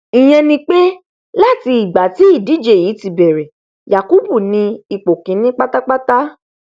ìyẹn ni pé láti ìgbà tí ìdíje yìí ti bẹrẹ yakubu ni ipò kíní pátápátá